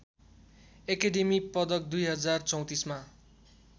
academy पदक २०३४ मा